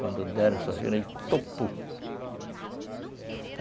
Quando deram